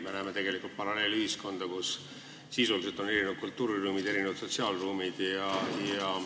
Me näeme tegelikult paralleelühiskonda, kus kõigepealt on sisuliselt erinevad kultuuriruumid, sotsiaalruumid.